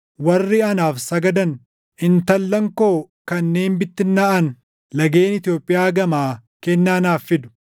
Warri anaaf sagadan, intallan koo kanneen bittinnaaʼan lageen Itoophiyaa gamaa kennaa naaf fidu.